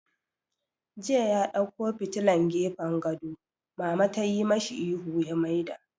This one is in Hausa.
Jiya ya ɗauko fitilan gefen gado, Mama tayi mashi ihun ya maida!